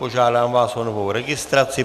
Požádám vás o novou registraci.